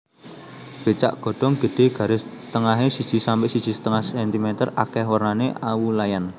Becak godhong gedhé garis tengahé siji sampe siji setengah cm akèh wernané awu layan